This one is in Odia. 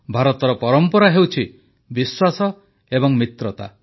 ଭାରତର ପରମ୍ପରା ହେଉଛି ବିଶ୍ୱାସ ଏବଂ ମିତ୍ରତା